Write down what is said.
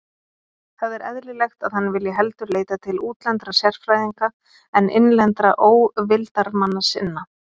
Það er eðlilegt, að hann vilji heldur leita til útlendra sérfræðinga en innlendra óvildarmanna sinna.